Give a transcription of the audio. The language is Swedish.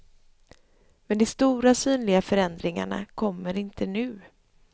Men de stora synliga förändringarna kommer inte nu.